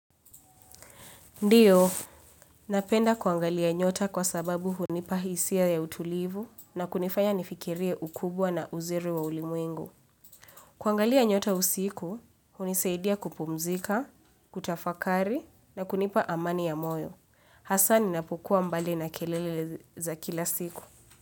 Ndiyo, napenda kuangalia nyota kwa sababu hunipa hisia ya utulivu na kunifanya nifikirie ukubwa na uzuri wa ulimwengu. Kuangalia nyota usiku, hunisaidia kupumzika, kutafakari na kunipa amani ya moyo. Hasaa ninapokuwa mbali na kelele za kila siku.